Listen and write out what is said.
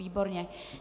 Výborně.